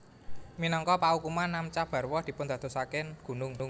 Minangka paukuman Namcha Barwa dipundadosaken gunung